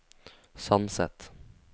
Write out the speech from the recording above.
Sandset